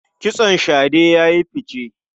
Kitson shade ya yi fice.